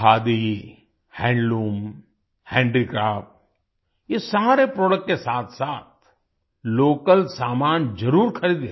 khadi handloom handicraft ये सारे product के साथसाथ लोकल सामान जरुर खरीदें